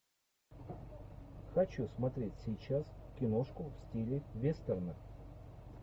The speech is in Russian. хочу смотреть сейчас киношку в стиле вестерна